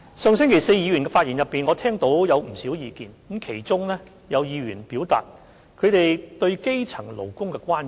上周四，議員的發言提出不少意見，其中有議員表達了他們對基層勞工的關注。